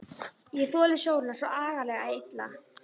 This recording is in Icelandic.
Ég þoli sólina svo agalega illa.